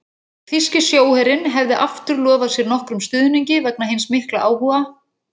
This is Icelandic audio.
Þýski sjóherinn hefði aftur lofað sér nokkrum stuðningi vegna hins mikla áhuga